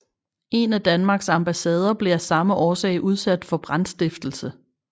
En af Danmarks ambassader blev af samme årsag udsat for brandstiftelse